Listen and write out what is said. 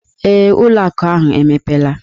Ee, ụlọ akụ ahụ emepela.